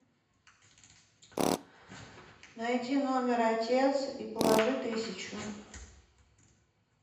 найди номер отец и положи тысячу